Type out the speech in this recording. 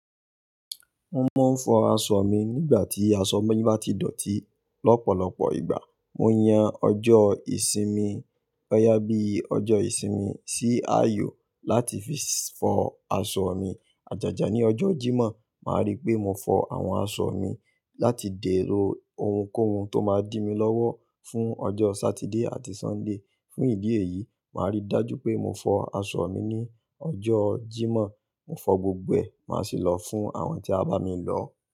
Mo máa ń fọ aṣọ mi nígbà tí aṣọ bá ti dọ̀tí. Lọ́pọ̀lọpọ̀ ìgbà, mo yan ọjọ́ ìsinmi, ọ̀yà bí i ọjọ́ ìsinmi sí ààyò láti fi fọ aṣọ mi. Àjàjà ní ọjọ́ Jímọ̀, màá rí pé mo fọ àwọn aṣọ mi láti dẹ̀ lo ohunkóhun tó máa dí mi lọ́wọ́ fún ọjọ́ Sátidé àti Sọ́ńdè. Fún ìdí èyí, màá rí dájú pé mo fọ aṣọ mi ní ọjọ́ Jímọ̀. Mo fọ gbogbo ẹ̀, màá sì lọ fún àwọn tí a bá mi lọ.